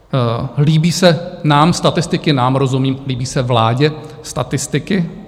Líbí se nám statistiky, "nám" rozumím líbí se vládě statistiky?